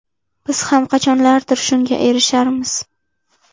Biz ham qachonlardir shunga erisharmiz?!